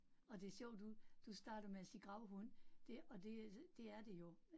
Og det sjovt du du starter med at sige gravhund, det og det det er det jo